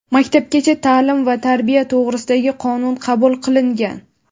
"Maktabgacha taʼlim va tarbiya to‘g‘risida"gi Qonun qabul qilingan.